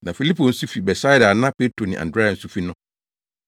Na Filipo nso fi Betsaida a na Petro ne Andrea nso fi no.